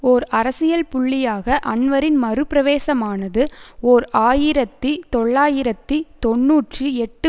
ஓர் அரசியல் புள்ளியாக அன்வரின் மறுபிரவேசமானது ஓர் ஆயிரத்தி தொள்ளாயிரத்தி தொன்னூற்றி எட்டு